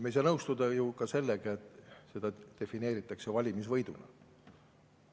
Me ei saa nõustuda ju ka sellega, et seda defineeritakse valimisvõiduna.